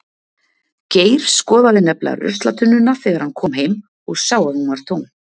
Geir skoðaði nefnilega ruslatunnuna þegar hann kom heim og sá að hún var tóm.